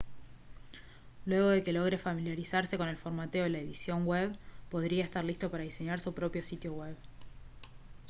luego de que logre familiarizarse con el formateo y la edición en la web podría estar listo para diseñar su propio sitio web